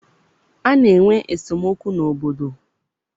A na-enwe esemokwu n'obodo.